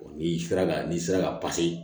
N'i sera ka n'i sera ka